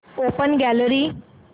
open gallery